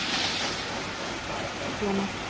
Háværara vængjatak fuglanna.